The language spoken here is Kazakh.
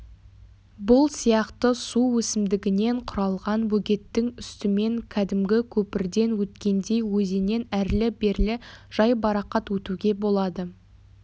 бұл сияқты су өсімдігінен құралған бөгеттің үстімен кәдімгі көпірден өткендей өзеннен әрлі-берлі жайбарақат өтуге болады